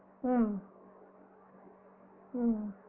உம் உம்